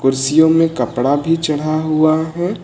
कुर्सियों में कपड़ा भी चढ़ा हुआ है।